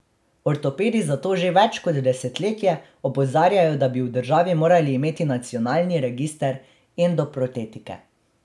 Ortopedi zato že več kot desetletje opozarjajo, da bi v državi morali imeti nacionalni register endoprotetike.